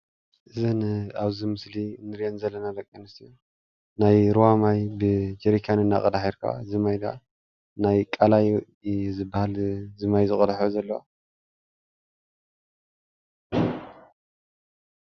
እዘን ኣብዚ ምስሊ እንሪአን ዘለና ደቂ ኣንስትዮ ናይ ሩባ ማይ ብጀሪካን እንዳቀድሓ ይርከባ እዚ ማይ ክዓ ናይ ቃላይ እዩ ዝባሃል እዚ ማይ ዝቀድሕኦ ዘለዋ ፡፡